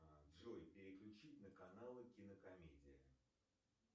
джой переключить на каналы кинокомедия